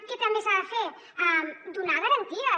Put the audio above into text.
què també s’ha de fer donar garanties